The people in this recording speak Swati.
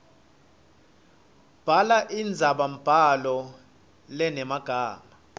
bhala indzabambhalo lenemagama